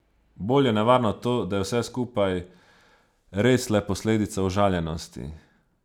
Bolj je nevarno to, da je vse skupaj res le posledica užaljenosti.